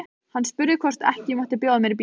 Hann spurði hvort ekki mætti bjóða mér í bíó.